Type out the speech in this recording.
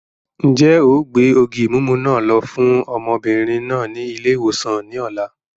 Ń jẹ́ ó gbé ògì mímú náà lọ fún ọmọbìnrin náà ni ilé-ìwòsàn ni ọ̀la